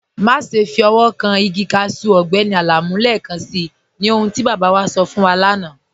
Máṣẹ́ fi ọwọ̀ kàn igi káṣù Ọgbẹ́ni Alamu lẹ́ẹ̀kànṣí, ní ọ̀hun tí baba wa sọ̀ fún wà lána.